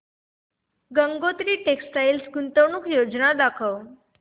Gangotri textile गुंतवणूक योजना दाखव